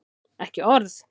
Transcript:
Ekki orð!